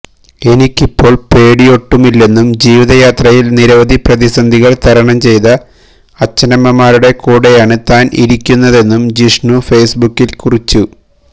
എനിക്കിപ്പോൾ പേടിയൊട്ടുമില്ലെന്നും ജീവിതയാത്രയിൽ നിരവധി പ്രതിസന്ധികൾ തരണം ചെയ്ത അച്ഛനമമ്മാരുടെ കൂടെയാണ് താൻ ഇരിക്കുന്നതെന്നും ജിഷ്ണു ഫേസ്ബുക്കിൽ കുറിച്ചു